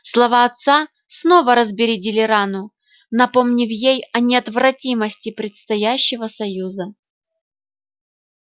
слова отца снова разбередили рану напомнив ей о неотвратимости предстоящего союза